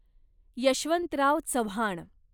Yashwantrao Chavan